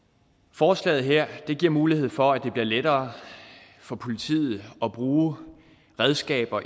forslaget her giver mulighed for at det bliver lettere for politiet at bruge redskaber